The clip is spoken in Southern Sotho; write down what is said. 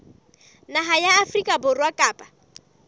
naha ya afrika borwa kapa